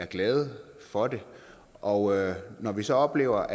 glade for det og når vi så oplever